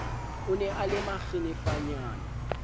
o ne a le makgenefanyana